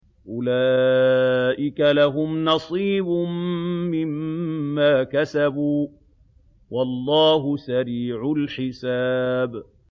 أُولَٰئِكَ لَهُمْ نَصِيبٌ مِّمَّا كَسَبُوا ۚ وَاللَّهُ سَرِيعُ الْحِسَابِ